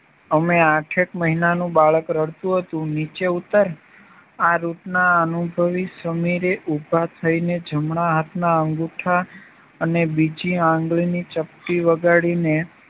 અમે આઠેક મહિનાનું બાળક રડતું હતું નીચે ઉત્તર આ રૂટના અનુભવી સમીરે ઉભા થઈ ને જમણા હાથમાં અંગુઠા અને બીજી આંગળીની ચપટી વગાડી ને